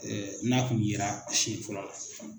n'a kun yera sɛn fɔlɔ la.